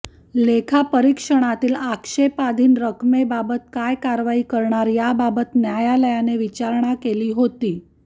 लेखापरीक्षणातील आक्षेपाधीन रकमेबाबत काय कारवाई करणार याबाबत न्यायालयाने विचारणा केली होती